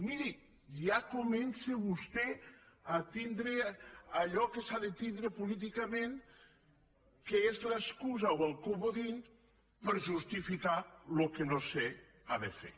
miri ja comença vostè a tindre allò que s’ha de tindre políticament que és l’excusa o el comodí per justificar el que no s’ha de fer